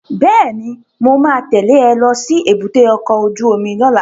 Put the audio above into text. Bẹ́ẹ̀ni, mo ma tẹ́lẹ̀ ẹ lọ sí èbúté ọkọ̀ ojú omi lọ́la